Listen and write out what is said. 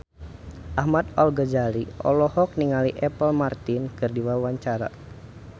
Ahmad Al-Ghazali olohok ningali Apple Martin keur diwawancara